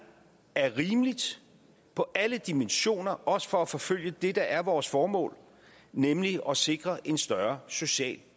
at det er rimeligt på alle dimensioner også for at forfølge det der er vores formål nemlig at sikre en større social